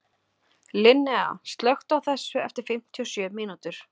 Linnea, slökktu á þessu eftir fimmtíu og sjö mínútur.